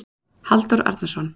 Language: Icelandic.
Halldór Arnarsson